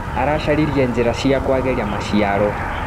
Aracaririe njĩra cia kwagĩria maciaro.